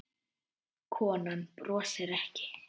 Konan brosir ekki.